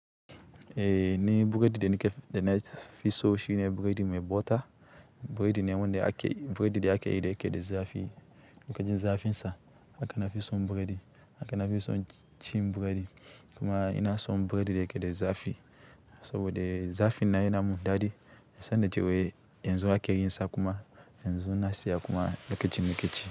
Eh ni buredi da nikef-da nafi so shine buredi mai bota, buredi ne wanda ake, buredi da ake yi yake da zafi. Lokacin zafin sa aka nafi son buredi, aka nafi son cin buredi kuma ina son buredi da yake da zafi saboda zafi nan yana mun daɗi. Sanin cewa yanzu ake yin sa kuma yanzu na siya kuma lokacin nike ci.